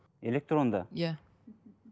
электронды иә